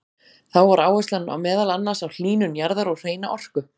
Þá var áherslan meðal annars á hlýnun jarðar og hreina orku.